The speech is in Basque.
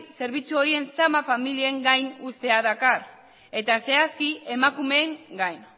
zerbitzu horiek zama familien gain uztea dakar eta zehazki emakumeen gain